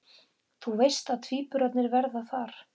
Þú veist að tvíburarnir verða þar